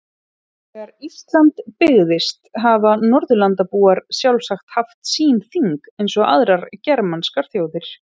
Þegar Ísland byggðist hafa Norðurlandabúar sjálfsagt haft sín þing eins og aðrar germanskar þjóðir.